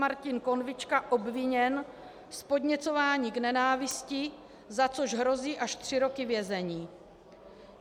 Martin Konvička obviněn z podněcování k nenávisti, za což hrozí až tři roky vězení.